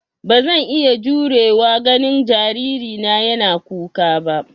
Ba zan iya jurewa ganin jaririna yana kuka ba.